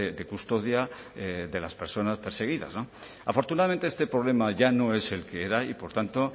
de custodia de las personas perseguidas afortunadamente este problema ya no es el que era y por tanto